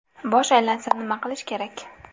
Bosh aylansa, nima qilish kerak?.